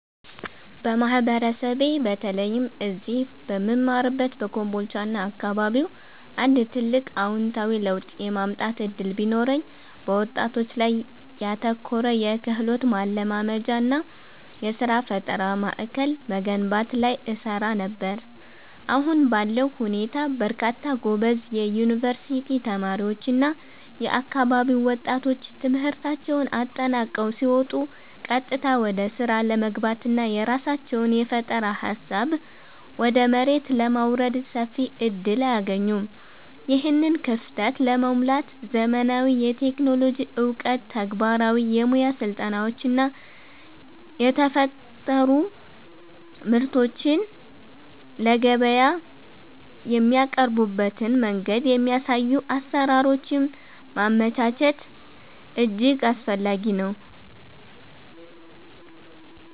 በማህበረሰቤ በተለይም እዚህ በምማርበት በኮምቦልቻና አካባቢው አንድ ትልቅ አዎንታዊ ለውጥ የማምጣት ዕድል ቢኖረኝ፣ በወጣቶች ላይ ያተኮረ የክህሎት ማልማጃና የሥራ ፈጠራ ማዕከል መገንባት ላይ እሰራ ነበር። አሁን ባለው ሁኔታ በርካታ ጎበዝ የዩኒቨርሲቲ ተማሪዎችና የአካባቢው ወጣቶች ትምህርታቸውን አጠናቀው ሲወጡ ቀጥታ ወደ ሥራ ለመግባትና የራሳቸውን የፈጠራ ሃሳብ ወደ መሬት ለማውረድ ሰፊ ዕድል አያገኙም። ይህንን ክፍተት ለመሙላት ዘመናዊ የቴክኖሎጂ ዕውቀት፣ ተግባራዊ የሙያ ስልጠናዎችና የተፈጠሩ ምርቶችን ለገበያ የሚያቀርቡበትን መንገድ የሚያሳዩ አሰራሮችን ማመቻቸት እጅግ አስፈላጊ ነው።